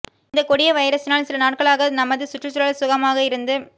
இந்த கொடிய வைரசினால் சில நாட்களாக நமது சுற்றுச்சூழல் சுகமாக இருந்து